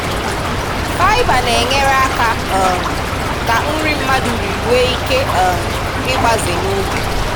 Faịba na-enyere aka um ka nri mmadụ riri nwee ike um ịgbaze n'oge.